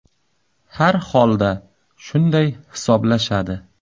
Har holda shunday hisoblashadi.